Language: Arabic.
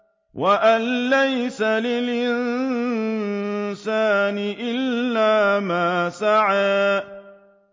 وَأَن لَّيْسَ لِلْإِنسَانِ إِلَّا مَا سَعَىٰ